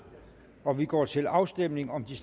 og vi går til afstemning om de